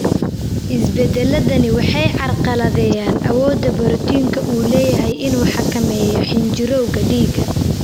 Isbeddelladani waxay carqaladeeyaan awoodda borotiinku u leeyahay inuu xakameeyo xinjirowga dhiigga.